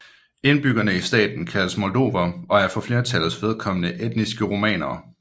Indbyggerne i staten kaldes moldovere og er for flertallets vedkommende etniske rumænere